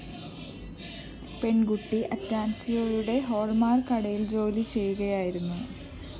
പെണ്‍കുട്ടി അറ്റാണ്‍സിയോയുടെ ഹാള്‍മാര്‍ക്ക് കടയില്‍ ജോലി ചെയ്യുകയായിരുന്നു